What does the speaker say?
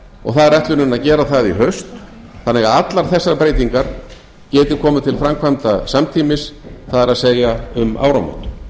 og það er ætlunin að gera það í haust þannig að allar þessar breytingar geti komið til framkvæmda samtímis það er um áramót